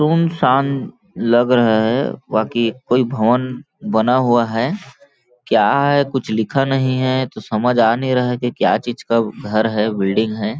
सुनसान लग रहा है बाकी कोई भवन बना हुआ है क्या है ? कुछ लिखा नहीं है तो समझ आ नहीं रहा है की क्या चीज का घर है बिल्डिंग हैं ।